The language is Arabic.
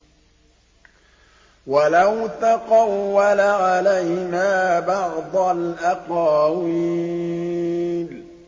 وَلَوْ تَقَوَّلَ عَلَيْنَا بَعْضَ الْأَقَاوِيلِ